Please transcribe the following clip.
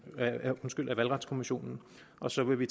valgretskommissionen og så vil vi